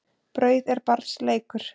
Brauð er barns leikur.